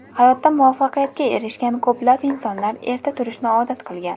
Hayotda muvaffaqiyatga erishgan ko‘plab insonlar erta turishni odat qilgan.